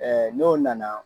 n'o nana